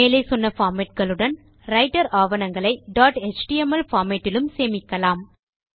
மேலே சொன்ன பார்மேட் களுடன் ரைட்டர் ஆவணங்களை டாட் எச்டிஎம்எல் பார்மேட் இலும் சேமிக்கலாம்